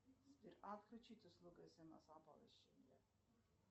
сбер отключить услугу смс оповещения